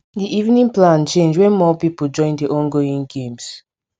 di evening plan change when more pipul join di ongoing games